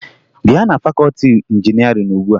Bịa na fakọọti injinịarịn ugbua!